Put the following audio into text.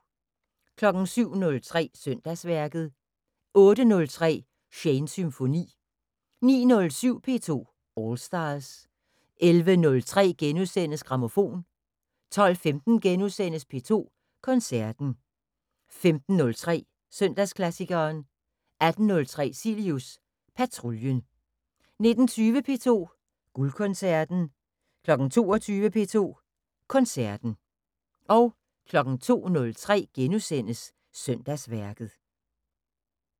07:03: Søndagsværket 08:03: Shanes Symfoni 09:07: P2 All Stars 11:03: Grammofon * 12:15: P2 Koncerten * 15:03: Søndagsklassikeren 18:03: Cilius Patruljen 19:20: P2 Guldkoncerten 22:00: P2 Koncerten 02:03: Søndagsværket *